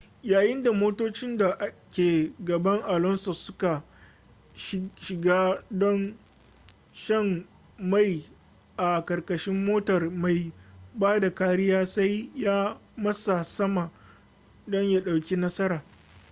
yayin da motocin da ke gaban alonso suka shiga don shan mai a ƙarƙashin motar mai ba da kariya sai ya matsa sama don ya ɗauki nasara